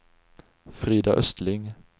Frida Östling